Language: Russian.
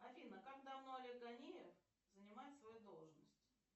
афина как давно олег ганеев занимает свою должность